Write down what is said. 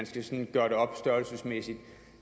skal gøre det op størrelsesmæssigt